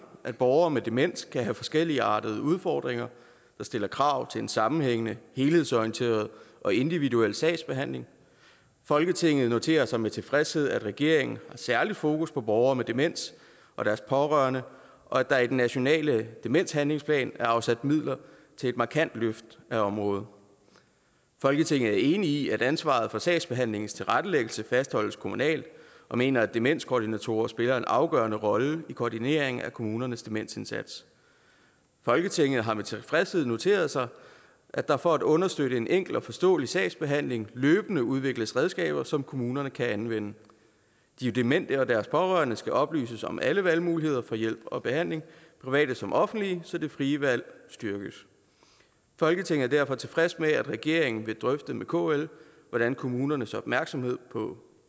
at borgere med demens kan have forskelligartede udfordringer der stiller krav til en sammenhængende helhedsorienteret og individuel sagsbehandling folketinget noterer sig med tilfredshed at regeringen har særligt fokus på borgere med demens og deres pårørende og at der i den nationale demenshandlingsplan er afsat midler til et markant løft af området folketinget er enig i at ansvaret for sagsbehandlingens tilrettelæggelse fastholdes kommunalt og mener at demenskoordinatorer spiller en afgørende rolle i koordineringen af kommunernes demensindsats folketinget har med tilfredshed noteret sig at der for at understøtte en enkel og forståelig sagsbehandling løbende udvikles redskaber som kommunerne kan anvende de demente og deres pårørende skal oplyses om alle valgmuligheder for hjælp og behandling private som offentlige så det frie valg styrkes folketinget er derfor tilfreds med at regeringen vil drøfte med kl hvordan kommunernes opmærksomhed på